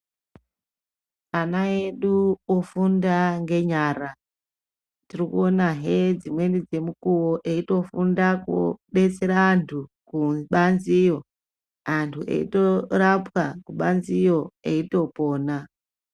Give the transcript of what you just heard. Ana edu ofunda ngenyara tiri kuonahe dzimweni dzemukuwo eitofunda kubetsera antu kubanziyo antu eitorapwa kubanziyo eitopona.